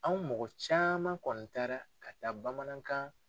Anw mɔgɔ caman kɔni taara ka taa bamanankan